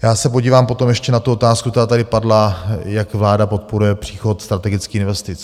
Já se podívám potom ještě na tu otázku, která tady padla, jak vláda podporuje příchod strategických investic.